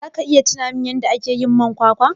zaka iya tunamin yadda akeyin man kwakwa?